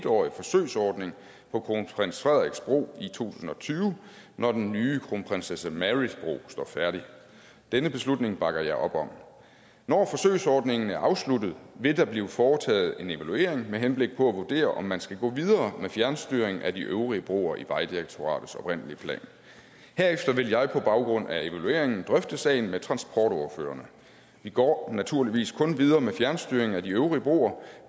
årig forsøgsordning på kronprins frederiks bro i to tusind og tyve når den nye kronprinsesse marys bro står færdig denne beslutning bakker jeg op om når forsøgsordningen er afsluttet vil der blive foretaget en evaluering med henblik på at vurdere om man skal gå videre med fjernstyring af de øvrige broer i vejdirektoratets oprindelige plan herefter vil jeg på baggrund af evalueringen drøfte sagen med transportordførerne vi går naturligvis kun videre med fjernstyring af de øvrige broer